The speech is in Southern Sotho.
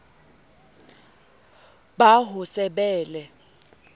ba ho se be le